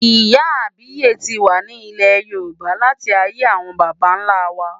Ìyá àbíyè ti wà ní ilẹ̀ Yorùbá láti ayé àwọn baba ńlá wa.